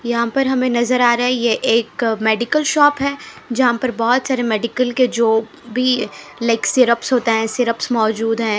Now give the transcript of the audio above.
यहापर हमे नज़र आ रहे है ये एक मेडिकल शॉप है जहाँपर बोहोत सारे मेडिकल के जो भी लाइक सिरपस होते है सिरपस मौजूद है।